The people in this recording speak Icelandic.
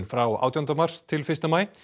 frá átjándu mars til fyrsta maí